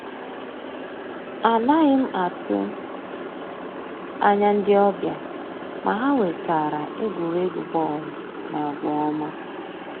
Ànàghị́ m àtụ́ ànyá ndí ọ́bị̀à, mà ha wètàra ègwùrègwù bọ́ọ̀lụ́ na àgwà ọ́ma.